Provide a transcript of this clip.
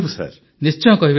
ପ୍ରଧାନମନ୍ତ୍ରୀ ନିଶ୍ଚୟ କହିବେ ତ